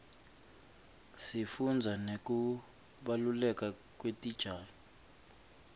sifundza nekubaluleka kwetitjalo